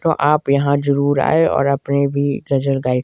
तो आप यहां जरूर आए और अपनी भी गजल गाए।